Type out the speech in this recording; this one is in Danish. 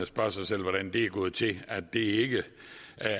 spørge sig selv hvordan det er gået til at det ikke